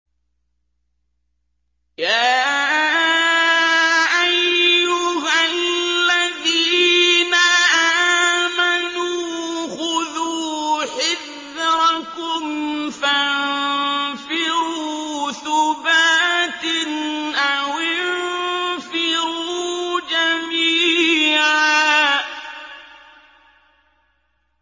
يَا أَيُّهَا الَّذِينَ آمَنُوا خُذُوا حِذْرَكُمْ فَانفِرُوا ثُبَاتٍ أَوِ انفِرُوا جَمِيعًا